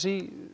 í